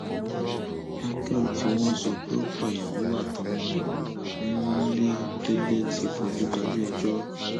micheal tí wọn sọ pé ó pàyàwó àtọmọ ẹ nìlédèlè ti fojú balẹẹjọ